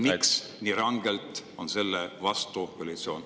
Miks koalitsioon on nii rangelt sellele vastu?